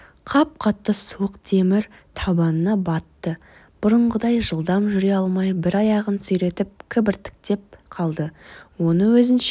қап-қатты суық темір табанына батты бұрынғыдай жылдам жүре алмай бір аяғын сүйретіп кібіртіктеп қалды оны өзінше